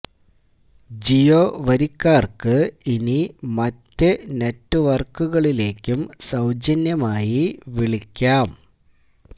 ജിയോ വരിക്കാർക്ക് ഇനി മറ്റ് നെറ്റ് വർക്കുകളിലേയ്ക്കും സൌജന്യമായി വിളിക്കാം